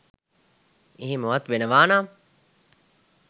එහෙමවත් වෙනවා නම්